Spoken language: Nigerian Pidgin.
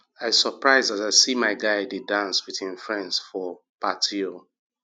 i surprise as i see my guy dey dance with him friends for party o